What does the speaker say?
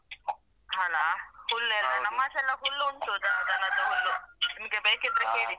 ಅಲಾ ಹುಲ್ಲೆಲ್ಲಾ ನಮ್ಮಾಚೆ ಎಲ್ಲ ಹುಲ್ಲು ಉಂಟು ದ~ ದನದ ಹುಲ್ಲು. ನಿಮಗೆ ಬೇಕಿದ್ರೆ ಕೇಳಿ.